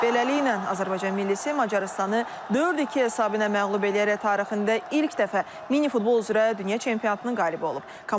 Beləliklə, Azərbaycan millisi Macarıstanı 4-2 hesabı ilə məğlub eləyərək tarixində ilk dəfə minifutbol üzrə dünya çempionatının qalibi olub.